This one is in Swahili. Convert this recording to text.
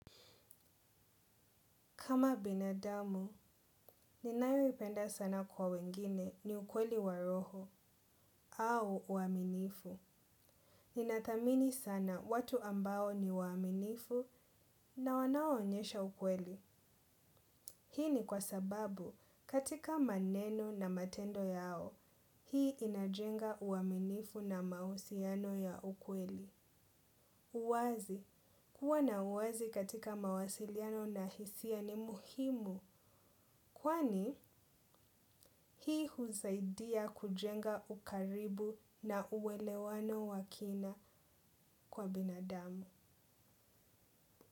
Kama binadamu, ninayoipenda sana kwa wengine ni ukweli wa roho au uaminifu. Ninathamini sana watu ambao ni waaminifu na wanaoonyesha ukweli. Hii ni kwa sababu katika maneno na matendo yao, hii inajenga uaminifu na mahusiano ya ukweli. Uwazi. Kuwa na uwazi katika mawasiliano na hisia ni muhimu kwani hii husaidia kujenga ukaribu na uelewano wa kina kwa binadamu.